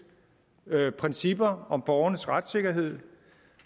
principper om borgernes retssikkerhed